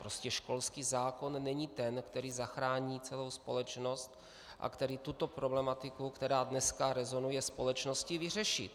Prostě školský zákon není ten, který zachrání celou společnost a který tuto problematiku, která dneska rezonuje společností, vyřeší.